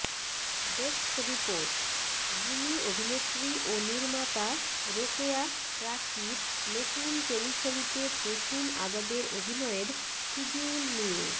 desk report গুণী অভিনেত্রী ও নির্মাতা রোকেয়া প্রাচীর নতুন টেলিছবিতে প্রসূন আজাদের অভিনয়ের শিডিউল নিয়ে